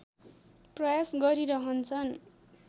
प्रयास गरिरहन्छन्